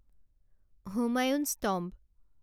Humayun's tomb